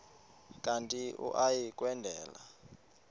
kanti uia kwendela